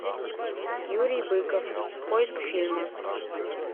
юрий быков поиск фильма